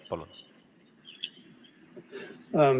Palun!